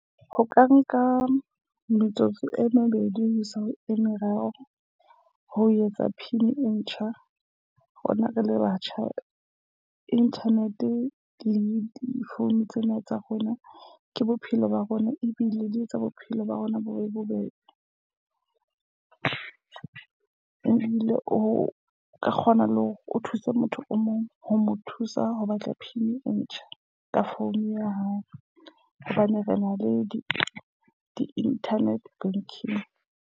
Ho ka nka metsotso e mebedi ho isa ho e meraro ho etsa pin e ntjha. Rona re le batjha internet le di-phone tsena tsa rona, ke bophelo ba rona ebile di etsa bophelo ba rona bo be bobebe. Ebile o ka kgona le hore o thuse motho o mong ho mo thusa ho batla pin e ntjha ka founu ya hao, hobane re na le di di-nternet banking.